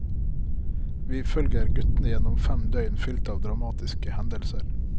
Vi følger guttene gjennom fem døgn fylt av dramatiske hendelser.